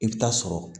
I bɛ taa sɔrɔ